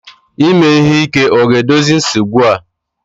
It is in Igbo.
Ime ihe ike ga-edozi nsogbu a?